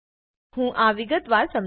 હું આ વિગતવાર સમજવું